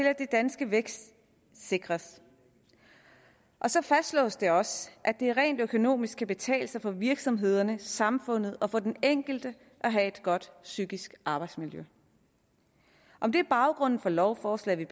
at den danske vækst sikres og så fastslås det også at det rent økonomisk kan betale sig for virksomhederne samfundet og for den enkelte at have et godt psykisk arbejdsmiljø om det er baggrunden for lovforslaget